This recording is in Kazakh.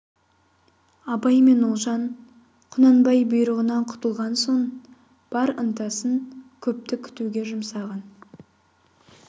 абай мен ұлжан құнанбай бұйрығынан құтылған соң бар ынтасын көпті күтуге жұмсаған